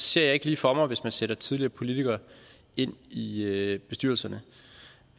ser jeg ikke lige for mig hvis man sætter tidligere politikere ind i i bestyrelserne